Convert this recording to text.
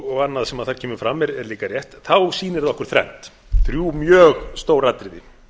og annað sem þar kemur fram er líka rétt sýnir það okkur þrennt þrjú mjög stór atriði